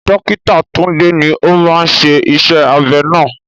Dókítà Tunde ni ó máa ṣe iṣẹ́ abẹ náà.